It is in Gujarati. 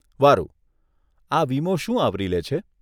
વારુ, આ વીમો શું આવરી લે છે?